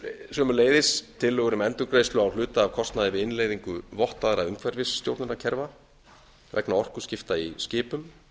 sömuleiðis tillögur um endurgreiðslu á hluta af kostnaði við innleiðingu vottaðra umhverfisstjórnunarkerfa vegna orkuskipta í skipum